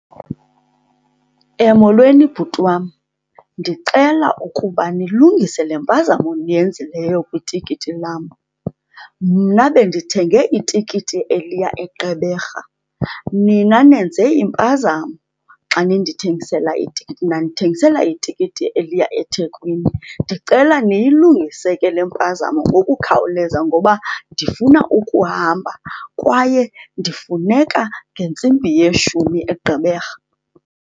Molweni bhuti wam, ndicela ukuba nilungise le mpazamo niyenzileyo kwitikiti lam. Mna bendithenge itikiti eliya eGqeberha. Nina nenze impazamo xa nindithengisela itikiti, nandithengisela itikiti eliya eThekwini. Ndicela niyilungise ke le mpazamo ngokukhawuleza ngoba ndifuna ukuhamba kwaye ndifuneka ngentsimbi yeshumi eGqeberha.